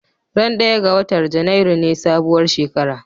Ran ɗaya ga watar Janairu ne sabuwar shekara